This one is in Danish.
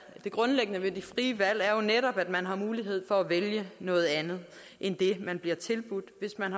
grundlæggende ved de frie valg er jo netop at man har mulighed for at vælge noget andet end det man bliver tilbudt hvis man